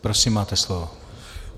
Prosím máte slovo.